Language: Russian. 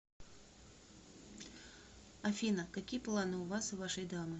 афина какие планы у вас и вашей дамы